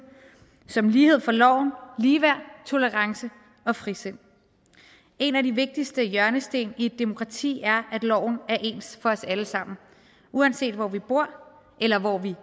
som lighed for loven ligeværd tolerance og frisind en af de vigtigste hjørnesten i et demokrati er at loven er ens for os alle sammen uanset hvor vi bor eller hvor vi